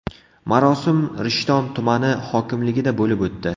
Marosim Rishton tumani hokimligida bo‘lib o‘tdi.